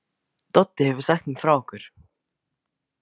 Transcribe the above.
Doddi hefur sagt mér frá ykkur.